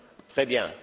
Très bien.